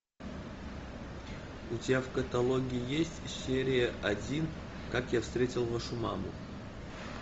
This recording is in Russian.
у тебя в каталоге есть серия один как я встретил вашу маму